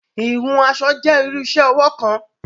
Hìhùn aṣọ jẹ̀ iru iṣẹ-ọwọ kan